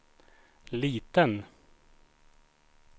liten